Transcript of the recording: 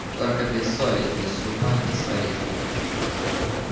только без соли без супа не сварите